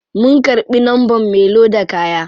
Mun karbi numbern me loda kaya.